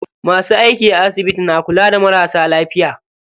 Masu aiki a asibiti na kula da marasa lafiya.